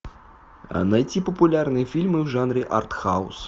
найти популярные фильмы в жанре арт хаус